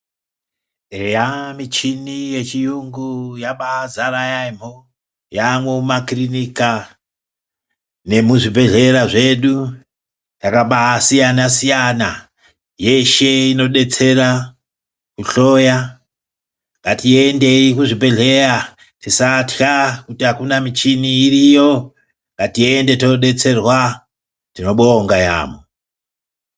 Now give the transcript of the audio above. Eya, michini yechiyungu yabazara yamho, yamumakirinika nekuzvibhedhlera zvedu, yakabasiyana-siyana yeshe inodetsera kuhloya, ngatiendeyi kuzvibhedhleya tisatya kuti akuna michini, iriyo ngatiende todetserwa, tinobonga yamho.